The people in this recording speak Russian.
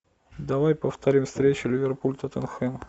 давай повторим встречу ливерпуль тоттенхэм